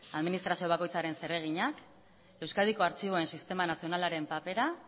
administrazio bakoitzaren zereginak euskadiko artxiboen sistema nazionalaren papera